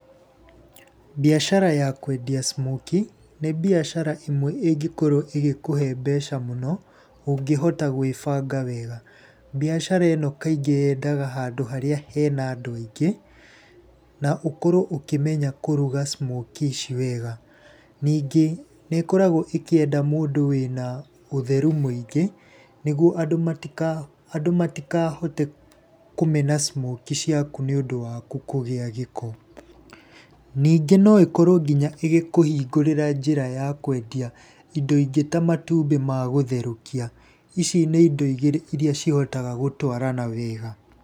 Mbiacara ya kwendia smokie nĩ mbiacara ĩmwe ingĩkorwo ĩgĩkũhee mbeca mũno, ũngĩhota gwĩbanga wega. Mbiacara ĩno kaingĩ yendaga handũ harĩa hena andũ aingĩ. Na ũkorwo ũkĩmenya kũruga smokie ici wega. Ningĩ nĩ ĩkoragwo ĩkĩenda mũndũ wĩna ũtheru mũingĩ nĩguo andũ matikahote kũmena smokie ciaku nĩ ũndũ waku kũgĩa gĩko. Ningĩ no ĩkorwo nginya ĩgĩkũhingũrĩra njĩra ya kũendia indo ingĩ ta matumbĩ magũtherũkia, ici nĩ indo igĩrĩ iria cihotaga gũtwarana wega.